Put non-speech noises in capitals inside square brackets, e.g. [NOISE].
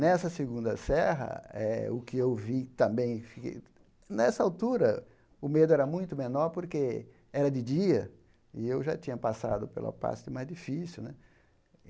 Nessa segunda serra eh , o que eu vi também... [UNINTELLIGIBLE] Nessa altura, o medo era muito menor porque era de dia e eu já tinha passado pela parte mais difícil né.